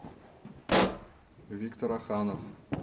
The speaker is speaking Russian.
виктор аханов